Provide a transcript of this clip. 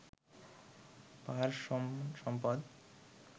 পাহাড়সম সম্পদ